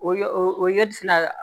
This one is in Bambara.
O ye o ye fɛnɛ